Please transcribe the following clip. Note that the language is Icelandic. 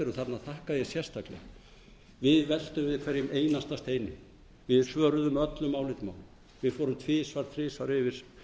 þarna þakka ég sérstaklega við veltum við hverjum einasta steini við svöruðum öllum álitum við fórum tvisvar þrisvar yfir